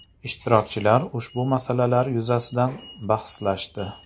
Ishtirokchilar ushbu masalalar yuzasidan bahslashdi.